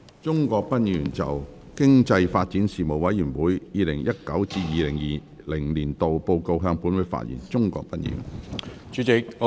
鍾國斌議員就"經濟發展事務委員會 2019-2020 年度報告"向本會發言。